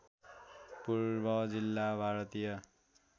पूर्व जिल्ला भारतीय